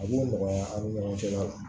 A b'o nɔgɔya aw ni ɲɔgɔn cɛ